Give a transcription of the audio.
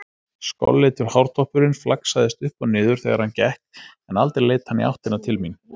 Skolleitur hártoppurinn flaksaðist upp og niður þegar hann gekk en aldrei leit hann í áttina til mín.